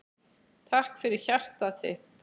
Takk fyrir hjartað þitt.